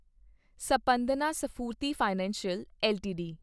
Spandana Sphoorty financial LTD